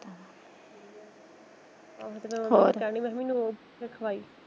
ਹੋਰ ਖਵਾਈ।